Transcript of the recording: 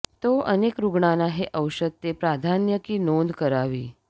तो अनेक रुग्णांना हे औषध ते प्राधान्य की नोंद करावी